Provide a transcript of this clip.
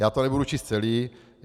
Já to nebudu číst celé.